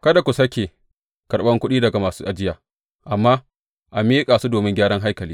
Kada ku sāke karɓan kuɗi daga masu ajiya, amma a miƙa su domin gyaran haikali.